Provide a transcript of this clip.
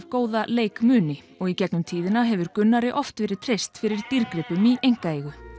góða leikmuni og í gegnum tíðina hefur Gunnari oft verið treyst fyrir dýrgripum í einkaeigu